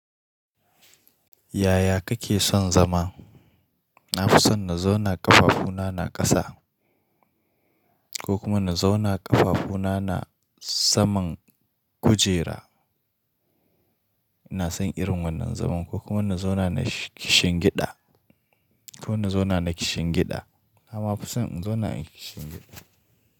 Yaya kake son zama? Na fi son na zauna ƙafafuna na ƙasa ko kuma na zauna ƙafafuna na saman kujera. Ina son irin wannan zaman ko kuma na zauna na kishin gida ko na zauna na kishin gida. Na ma fi son in zauna in kishin gida.